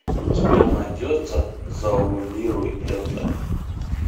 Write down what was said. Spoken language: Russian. у тебя найдется завуалируй это